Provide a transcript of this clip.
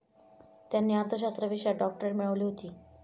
त्यांनी अर्थशास्त्र विषयात डॉक्टरेट मिळवली होती.